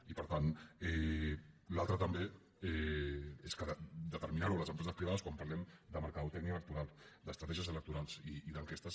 i per tant l’altra també és que determinar ho a les empreses privades quan parlem de màrqueting electoral d’estratègies electorals i d’enquestes